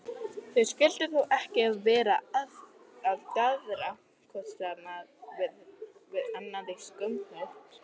Þau skyldu þó ekki vera að daðra hvort við annað í skúmaskoti?